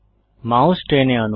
mouse টেনে আনুন